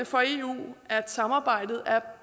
for eu at samarbejdet er